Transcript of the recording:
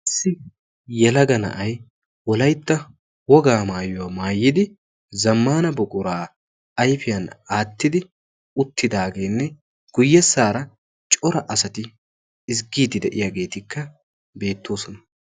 Issi yelaga na'aay wolaytta wogaa maayuwaa maayidi zammana buqura ayfiya attidi uttidagene guyesara cora asaati ezzgidi deiyagetika beetosona.